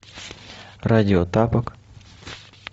радио тапок